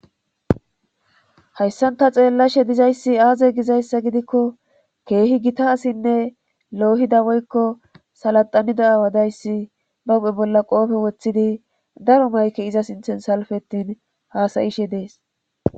hayssanta xeellashe dizayssi aaze gizayssa gidikko keehi gita asinne loohida woykko salaxanida awadayssi ba uphe bolla qoofe woththidi daro mayke iza sinthen salfettin haasayishe dees